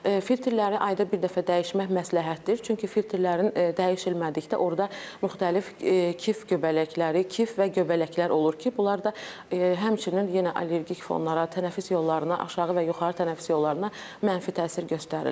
Filtrləri ayda bir dəfə dəyişmək məsləhətdir, çünki filtrlərin dəyişmədikdə orda müxtəlif kif göbələkləri, kif və göbələklər olur ki, bunlar da həmçinin yenə allergik fonlara, tənəffüs yollarına, aşağı və yuxarı tənəffüs yollarına mənfi təsir göstərirlər.